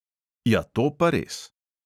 Ja, to pa res.